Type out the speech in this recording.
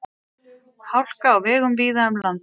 Hálka á vegum víða um land